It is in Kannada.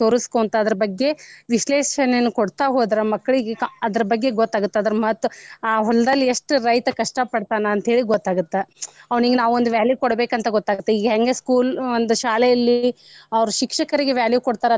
ತೊರಸ್ಕೊಂತ ಅದರ ಬಗ್ಗೆ ವಿಶ್ಲೇಷಣೆಯನ್ನ ಕೊಡ್ತಾ ಹೋದ್ರ ಮಕ್ಳಿಗೆ ಅದರ ಬಗ್ಗೆ ಗೊತ್ತ ಆಗುತ್ತ ಅದರ ಮಹತ್ವ ಆ ಹೊಲದಲ್ಲಿ ಎಷ್ಟ ರೈತ ಕಷ್ಟಾ ಪಡ್ತಾನ ಅಂತ ಹೇಳಿ ಗೊತ್ತ ಆಗುತ್ತ ಅವ್ನಿಗ ನಾವೊಂದ value ಕೊಡಬೇಕ ಅಂತ ಗೊತ್ತ ಆಗುತ್ತ ಈಗ ಹಂಗ school ಒಂದ ಶಾಲೆಯಲ್ಲಿ ಅವ್ರ ಶಿಕ್ಷಕರಿಗೆ value ಕೊಡ್ತಾರ.